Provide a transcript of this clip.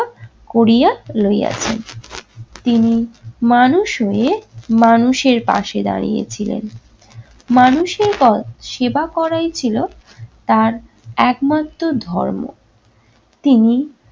Korea লইয়াছেন। তিনি মানুষ হয়ে মানুষের পাশে দাঁড়িয়েছিলেন। মানুষের তর সেবা করে ছিল তার একমাত্র ধর্ম। তিনি